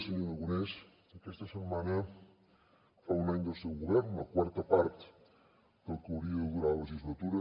senyor aragonès aquesta setmana fa un any del seu govern una quarta part del que hauria de durar la legislatura